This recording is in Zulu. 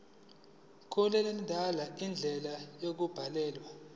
mkulandelwe indlela yokubhalwa